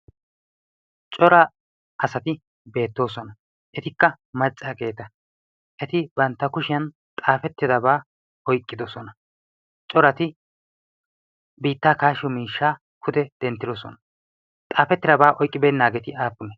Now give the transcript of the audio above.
coraa asati beettoosona. etikka maccaageeta eti bantta kushiyan xaafettidabaa oiqqidosona. corati biittaa kaashiyo miishshaa kude denttidosona. xaafettidabaa oiqqibeennaageeti aappune?